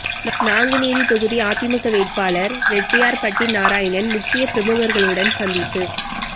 நாங்குநேரி தொகுதி அதிமுக வேட்பாளர் ரெட்டியார்பட்டி நாராயணன் முக்கிய பிரமுகர்களுடன் சந்திப்பு